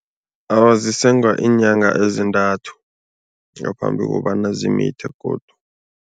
Awa, zisengwa iinyanga ezintanthu ngaphambi kobana zimithe godu.